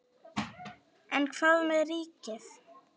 En hvað með ríkið?